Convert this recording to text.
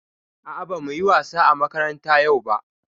A'a bamu yi wasa a makaranta yau ba.